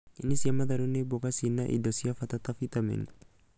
nyeni cia matharũ ni mboga ciĩna indo cia bata ta bitameni